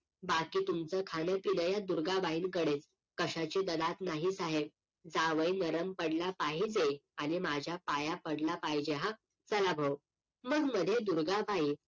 बाकी तुमचं खाणं पिणं या दुर्गाबाईंकडेच कश्याची दलात नाही साहेब जावई नरम पडला पाहिजे आणि माझ्या पाया पडला पाहिजे हा चला भाऊ मग लगेच दुर्गबाई